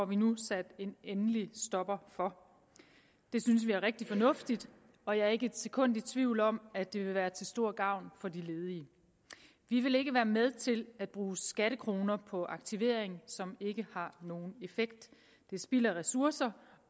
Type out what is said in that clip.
vi nu sat en endelig stopper for det synes vi er rigtig fornuftigt og jeg er ikke et sekund i tvivl om at det vil være til stor gavn for de ledige vi vil ikke være med til at bruge skattekroner på aktivering som ikke har nogen effekt det er spild af ressourcer